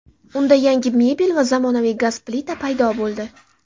Unda yangi mebel va zamonaviy gaz plita paydo bo‘ldi.